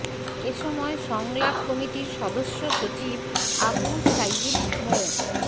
এ সময় সংলাপ কমিটির সদস্য সচিব আবু সাঈদ মো